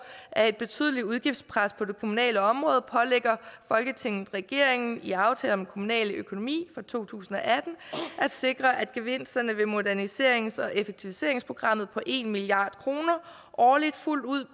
er et betydeligt udgiftspres på det kommunale område pålægger folketinget regeringen i aftale om den kommunale økonomi for to tusind og atten at sikre at gevinsterne ved moderniserings og effektiviseringsprogrammet på en milliard kroner årligt fuldt ud